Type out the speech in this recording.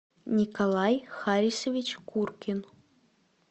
николай харисович куркин